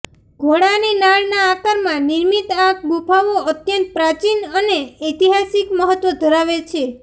ઘોડાની નાળના આકારમાં નિર્મિત આ ગુફાઓ અત્યંત પ્રાચીન અને ઐતિહાસિક મહત્વ ધરાવે છે